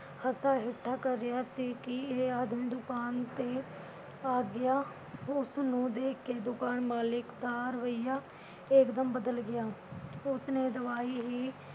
ਹੱਸਾ ਠੱਠਾ ਕਰ ਰਿਹਾ ਸੀ ਕਿ ਇਹ ਆਦਮੀ ਦੁਕਾਨ ਤੇ ਆ ਗਿਆ । ਉਸਨੂੰ ਦੇਖ ਕੇ ਦੁਕਾਨ ਮਾਲਕ ਦਾ ਰਵੱਈਆ ਇਕ ਦਮ ਬਦਲ ਗਿਆ । ਉਸਨੇ ਦਵਾਈ ਹੀ